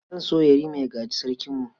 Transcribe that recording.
Zan so Yarima ya gaji Sarkinmu.